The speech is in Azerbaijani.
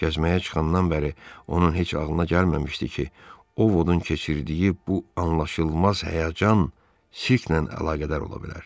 Gəzməyə çıxandan bəri onun heç ağlına gəlməmişdi ki, Ovodun keçirdiyi bu anlaşılmaz həyəcan sirkdən əlaqədar ola bilər.